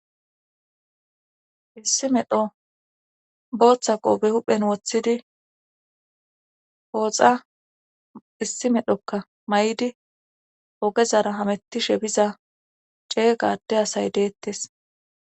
issi medho booththa qoobe huphen woththidi pooxa issi medhokka may7di ogezara hamettishe biza cee gade asay deettes